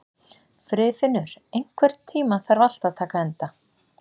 Friðfinnur, einhvern tímann þarf allt að taka enda.